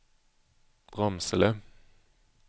Ramsele